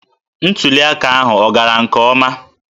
Ntuli aka ahụ ọ gara nke ọma?